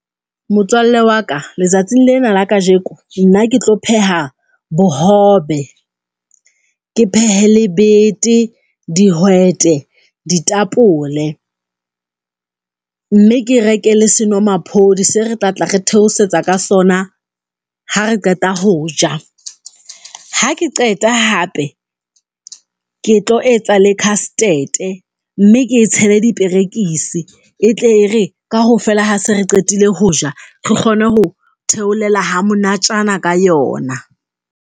Motswalle wa ka letsatsing lena la kajeko, nna ke tlo pheha bohobe, ke phehe le bete, dihwete, ditapole mme ke reke le senomaphodi se re tla tla re theosetsa ka sona ha re qeta ho ja. Ha ke qeta hape, ke tlo etsa le khastete e mme ke e tshele diperekisi e tle re kaofela ha se re qetile ho ja, re kgone ho theolela ha monatjana ka yona.